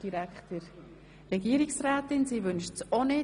Die Regierungsrätin wünscht das Wort auch nicht.